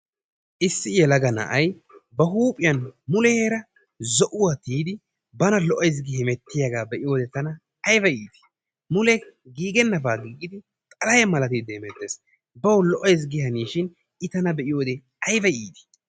Issi yelelaga na'ay ba huuphphiyaan muleera zo'uwaa tiyidi bana lo'ayssi gi hemettiyaagaa be'iyode tana ayba iitii. Mule giigennabaa tiyid xalahe malatti hemetees. Bawu lo'ayssi gi haneeshin i tana be'iyoode ayba iitii.